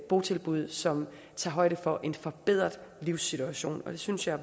botilbud som tager højde for en forbedret livssituation det synes jeg